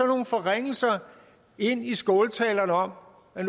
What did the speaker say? nogle forringelser ind i skåltalerne om at